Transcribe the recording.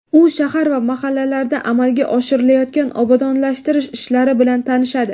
u shahar va mahallalarda amalga oshirilayotgan obodonlashtirish ishlari bilan tanishadi.